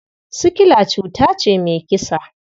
Sikila cuta ce mai kisa.